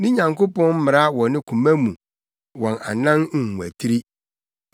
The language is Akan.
Ne Nyankopɔn mmara wɔ ne koma mu; wɔn anan nwatiri.